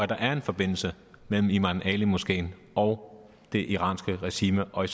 der er en forbindelse mellem imam ali moskeen og det iranske regime og